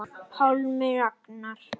Pálmi Ragnar.